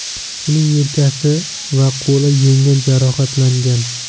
Uning yelkasi va qo‘li yengil jarohatlangan.